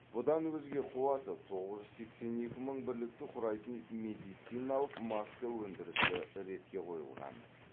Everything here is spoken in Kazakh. бұдан өзге қуаты тоғыз жүз сексен екі мың бірлікті құрайтын медициналық маска өндірісі ретке қойылған